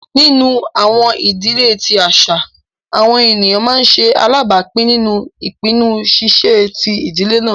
Nínu àwọn idílẹ̀ tí àṣà, àwọn ẹnia má nṣè alábápìn nínú ìpìnnú ṣíṣẹ̀ tí idílẹ̀ náà.